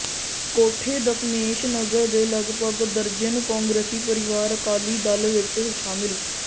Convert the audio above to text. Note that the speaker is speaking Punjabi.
ਕੋਠੇ ਦਸਮੇਸ਼ ਨਗਰ ਦੇ ਲਗਭਗ ਦਰਜਨ ਕਾਂਗਰਸੀ ਪਰਿਵਾਰ ਅਕਾਲੀ ਦਲ ਵਿਚ ਸ਼ਾਮਿਲ